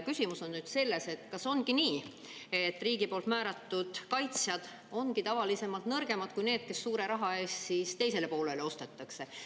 Küsimus on selles, et kas ongi nii, et riigi poolt määratud kaitsjad ongi tavaliselt nõrgemad kui need, kes suure raha eest teisele poolele ostetakse.